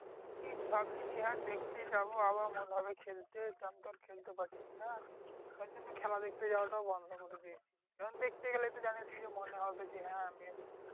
কি ভাবছি যে হ্যাঁ দেখতে যাবো আবার মনে হবে খেলতে তখন তো আর খেলতে পারছি না। তার জন্য খেলা দেখতে যাওয়াটাও বন্ধ করে দিয়েছি। কারণ দেখতে গেলেই তো জানিস কি মনে হবে যে, হ্যাঁ আমিও খেলি।